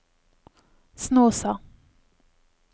Snåsa